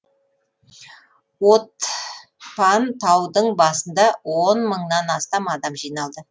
отпан таудың басында он мыңнан астам адам жиналды